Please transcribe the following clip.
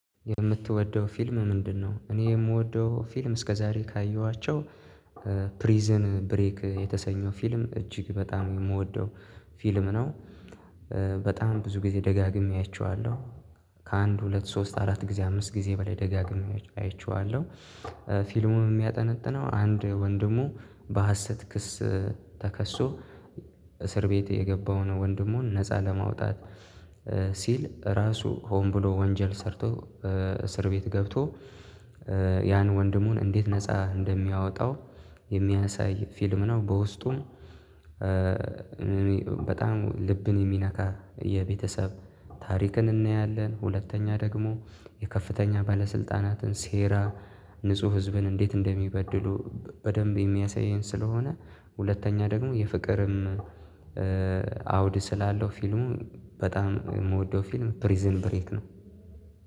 የምትወደው ፊልም ምንድነው? እኔ የምወደው ፊልም እስከዛሬ ካየኋቸው ፕሪዝን ብሬክ የተሰኘው ፊልም እጅግ በጣም የምወደው ፊልም ነው። በጣም ብዙ ጊዜ ደጋግሜ አይቸዋለሁ። ከአንድ ሁለት ሶስት አራት ጊዜ አምስት ጊዜ በላይ ደጋግሜ አያችዋለሁ ፊልሙም የሚያጠነጥነው አንድ ወንድሙ በሀሰት ክስ ተከሶ እስር ቤት የገባውን ወንድሙን ነፃ ለማውጣት ሲል ራሱ ሆን ብሎ ወንጀል ሰርቶ እስር ቤት ገብቶ ያን ወንድሙን እንዴት ነፃ እንደሚያወጣው የሚያሳይ ፊልም ነው። በውስጡም በጣም ልብን የሚነካ የቤተሰብ ታሪክን እናያለን። ሁለተኛ ደግሞ የከፍተኛ ባለስልጣናትን ሴራ ንጹህ ህዝብን እንዴት እንደሚበድሉ በደንብ የሚያሳየን ስለሆነ ሁለተኛ ደግሞ የፍቅርም አውድ ስላለው ፊልሙ በጣም የምወደው ፊልም ፕሪዝን ብሬክ ነው።